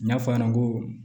N'a fɔ a ɲɛna ko